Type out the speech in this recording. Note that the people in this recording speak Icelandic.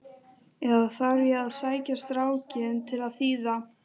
Eða þarf ég að sækja strákinn til að þýða?